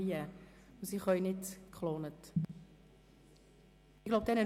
Und sie kann nicht geklont erscheinen.